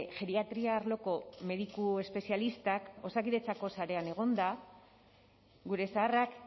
geriatria arloko mediku espezialistak osakidetzako sarean egonda gure zaharrak